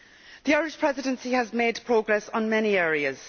The Irish Presidency has made progress in many areas.